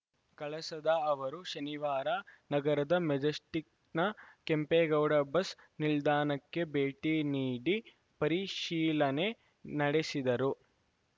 ಕಳಸದ ಅವರು ಶನಿವಾರ ನಗರದ ಮೆಜೆಸ್ಟಿಕ್‌ನ ಕೆಂಪೇಗೌಡ ಬಸ್‌ ನಿಲ್ದಾಣಕ್ಕೆ ಭೇಟಿ ನೀಡಿ ಪರಿಶೀಲನೆ ನಡೆಸಿದರು